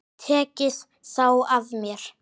Tekið þá af mér.